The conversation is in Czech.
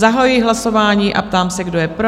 Zahajuji hlasování a ptám se, kdo je pro?